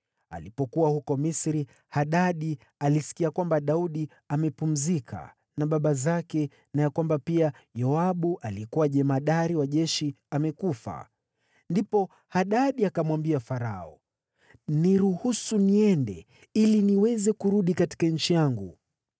Alipokuwa huko Misri, Hadadi alisikia kwamba Daudi amepumzika na baba zake na ya kwamba pia Yoabu aliyekuwa jemadari wa jeshi amekufa. Ndipo Hadadi akamwambia Farao, “Niruhusu niende ili niweze kurudi katika nchi yangu.”